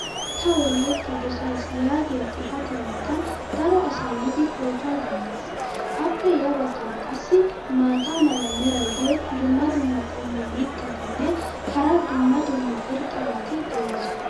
"Ta wolaita dossays" yaagiya xifatiya matan daro asay yiidi pootuwa deddees. appe ya bagaara qassi maata mala meray diyo dumma dumma qommo mitattinne hara dumma dumma irxxabati de'oosona.